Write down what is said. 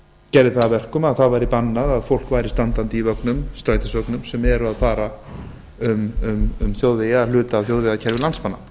gerði það að verkum að það væri bannað að fólk væri standandi í strætisvögnum sem eru að fara um hluta af þjóðvegakerfi landsmanna